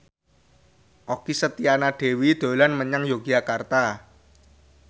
Okky Setiana Dewi dolan menyang Yogyakarta